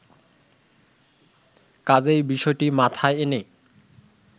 কাজেই বিষয়টি মাথায় এনে